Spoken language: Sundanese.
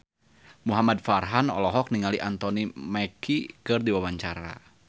Muhamad Farhan olohok ningali Anthony Mackie keur diwawancara